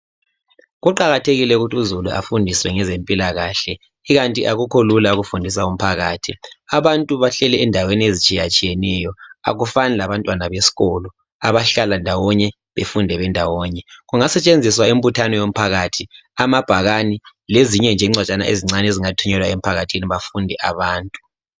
Kuqakathekile ukuthi uzulu afundiswe ngezempilakahle ikanti akukho lula ukufundisa umphakathi abantu bahleli endaweni ezitshiyatshiyeneyo akufani labantwana besikolo abahlala ndawonye befunde bendawonye kungasetshenziswa imbuthano yomphakathi amabhakani lezinye nje incwajana ezincani ezingathunyelwa emphkathini bafunde abantu.